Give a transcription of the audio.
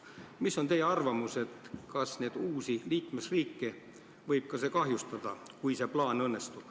Milline on teie arvamus, kas selle plaani õnnestumine võib neid uusi liikmesriike kahjustada?